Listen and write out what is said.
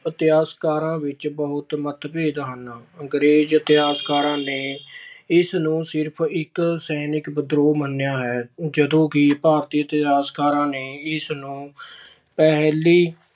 ਇਤਿਹਾਸਕਾਰਾਂ ਵਿੱਚ ਬਹੁਤ ਮਤਭੇਦ ਹਨ। ਅੰਗਰੇਜ਼ ਇਤਿਹਾਸਕਾਰਾਂ ਨੇ ਇਸ ਨੂੰ ਸਿਰਫ਼ ਇੱਕ ਸੈਨਿਕ ਵਿਦਰੋਹ ਮੰਨਿਆ ਹੈ। ਜਦੋਂ ਕਿ ਭਾਰਤੀ ਇਤਿਹਾਸਕਾਰਾਂ ਨੇ ਇਸਨੂੰ ਪਹਿਲੀ